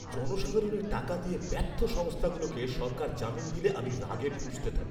জনসাধারণের টাকা দিয়ে ব্যর্থ সংস্থাগুলোকে সরকার জামিন দিলে আমি রাগে ফুঁসতে থাকি।